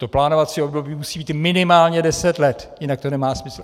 To plánovací období musí být minimálně deset let, jinak to nemá smysl.